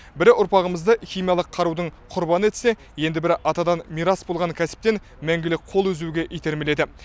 бірі ұрпағымызды химиялық қарудың құрбаны етсе енді бірі атадан мирас болған кәсіптен мәңгілік қол үзуге итермеледі